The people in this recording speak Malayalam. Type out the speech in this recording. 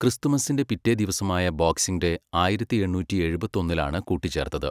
ക്രിസ്തുമസിന്റെ പിറ്റേദിവസമായ ബോക്സിംഗ് ഡേ ആയിരത്തി എണ്ണൂറ്റി എഴുപത്തിയൊന്നിലാണ് കൂട്ടിച്ചേർത്തത്.